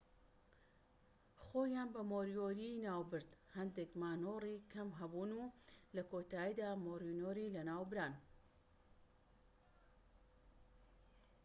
خۆیان بە مۆریۆری ناوبرد هەندێک مانۆڕی کەم هەبوون و لە کۆتاییدا مۆریۆری لە ناوبران